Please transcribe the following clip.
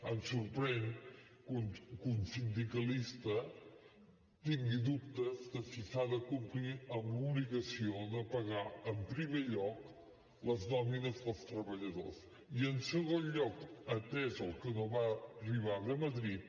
em sorprèn que un sindicalista tingui dubtes de si s’ha de complir amb l’obligació de pagar en primer lloc les nòmines dels treballadors i en segon lloc atès el que no va arribar de madrid